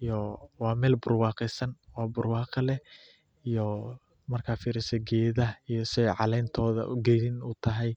iyo sida aay caleentoida cagaar utahay.